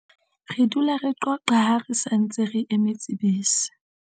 re dula re qoqa ha re sa ntse re emetse bese